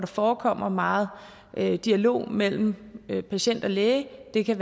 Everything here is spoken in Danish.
forekommer meget dialog mellem patienten og lægen det kan